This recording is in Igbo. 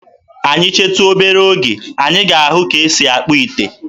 Anyị chetu obere oge, anyị ga-ahụ ka e si akpụ ite.